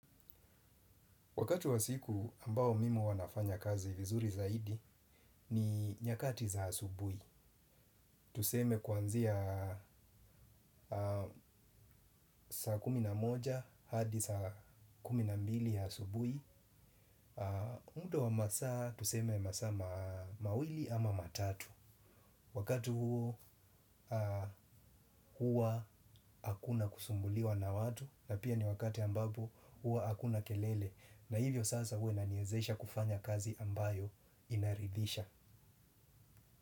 Wakati wa siku ambao mimi huwa nafanya kazi vizuri zaidi ni nyakati za asubui. Tuseme kuanzia saa kuminamoja hadi saa kuminambili ya asubui. Muda wa masaa tuseme masaa mawili ama matatu. Wakati huo hua hakuna kusumbuliwa na watu na pia ni wakati ambapo hua hakuna kelele. Na hivyo sasa huwa inaniezesha kufanya kazi ambayo inaridhisha.